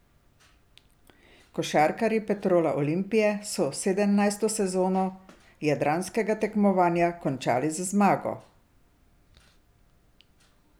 Košarkarji Petrola Olimpije so sedemnajsto sezono jadranskega tekmovanja končali z zmago.